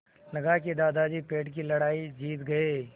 लगा कि दादाजी पेड़ की लड़ाई जीत गए